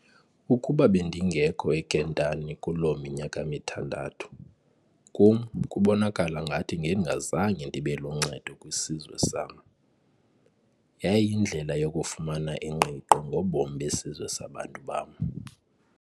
Ukuba bendingekho eKentani Kuloo minyaka mithandathu, kum kubonakala ngathi ngendingazange ndibe luncedo kwisizwe sam. yayiyindlela yokufumana ingqiqo ngobomi besizwe sabantu bam.